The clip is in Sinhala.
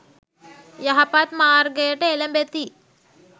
යහපත් මාර්ගයට එළැඹෙති.